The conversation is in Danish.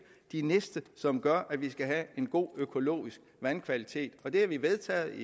de næste som gør at vi skal have en god økologisk vandkvalitet det har vi vedtaget